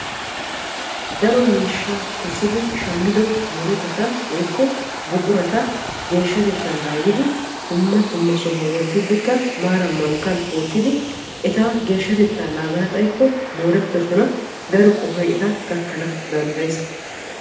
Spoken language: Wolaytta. daro miishshaa kessidi shammidi murutata woyikko buqurata geeshshatettaa naagidi dumma dumma sohuwan wottiiddikka maaran mankkan wottidi eta geeshshatettaa naagana xayikko moorettoosona daro qohoy eta gakkana danddayes.